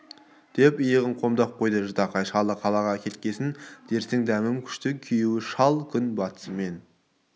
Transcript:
деп иығын қомдап қойды ждакай шалы қалаға кеткесін дерсің дәмем күшті күйеуі шал күн батысымен